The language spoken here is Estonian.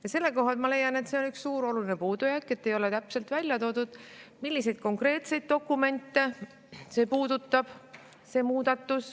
Ja sellel kohal ma leian, et see on üks suur puudujääk, et ei ole täpselt välja toodud, milliseid konkreetseid dokumente see muudatus puudutab.